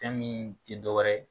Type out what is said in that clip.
Fɛn min ti dɔwɛrɛ ye